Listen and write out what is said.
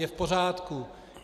Je v pořádku.